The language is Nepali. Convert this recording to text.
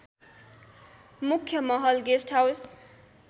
मुख्‍य महल गेस्‍टहाउस